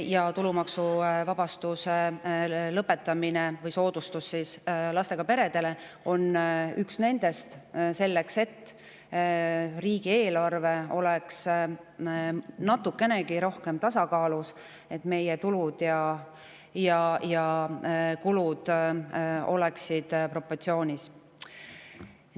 Ja selle soodustuse lastega perede puhul on üks nendest, selleks et riigieelarve oleks natukenegi rohkem tasakaalus ning et meie tulud ja kulud oleksid proportsioonis.